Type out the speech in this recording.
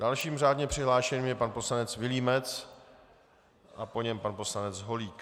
Dalším řádně přihlášeným je pan poslanec Vilímec a po něm pan poslanec Holík.